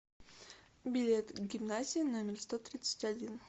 билет гимназия номер сто тридцать один